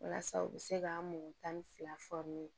Walasa u bɛ se ka mɔgɔ tan ni fila